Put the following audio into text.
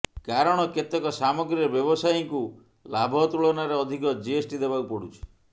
କାରଣ କେତେକ ସାମଗ୍ରୀରେ ବ୍ୟବସାୟୀଙ୍କୁ ଲାଭ ତୁଳନାରେ ଅଧିକ ଜିଏସଟି ଦେବାକୁ ପଡ଼ୁଛି